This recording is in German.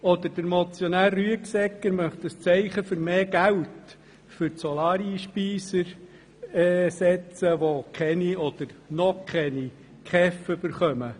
Der Motionär Rüegsegger möchte hingegen ein Zeichen setzen für mehr Geld für die Einspeiser von Solarstrom, die – noch – keine KEVMittel erhalten.